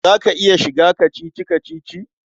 Za ka iya shiga kacici-kacici?